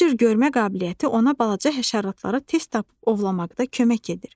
Bu cür görmə qabiliyyəti ona balaca həşaratları tez tapıb ovlamaqda kömək edir.